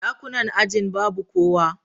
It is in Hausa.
Dakunan ajin babu kowa.